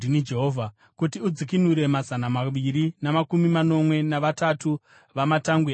Kuti udzikinure mazana maviri namakumi manomwe navatatu vamatangwe avaIsraeri,